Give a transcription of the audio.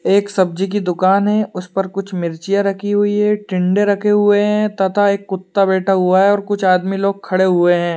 एक सब्जी की दुकान है। उस पर कुछ मिर्चियाँ रखी हुई है टिंडे रखे हुए हैं तथा एक कुत्ता बैठा हुआ है और कुछ आदमी लोग खड़े हुए हैं।